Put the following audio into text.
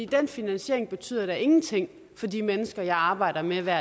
den finansiering betyder da ingenting for de mennesker jeg arbejder med hver